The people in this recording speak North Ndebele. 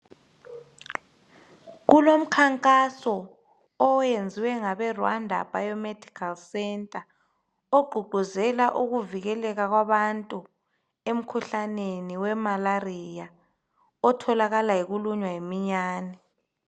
Kulomkhankaso owenziwe ngabeRwanda biomedical centre ogqugquzela ukuvikeleka kwabantu emkhuhlaneni weMalaria otholakala ngokulunywa yiminyane.